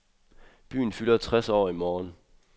Byen fylder tres år i morgen.